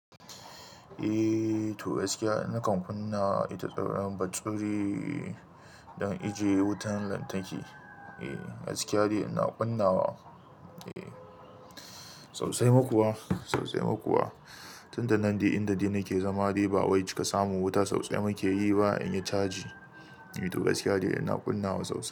Eh to gaskiya ina kan kunna ita tsaron bature don ajiye wutan lantarki. Eh gaskiyadai ina kunna wa. Eh sosai ma kuwa, sosai ma kuwa. Tunda nan dai inda dai nake zama dai ba wai cika samun wuta sosai muke yi ba in ya caji. To gaskiya ina kunna wa sosai.